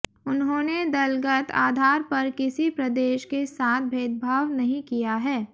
उन्होंने दलगत आधार पर किसी प्रदेश के साथ भेदभाव नहीं किया है